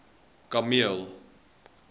kameel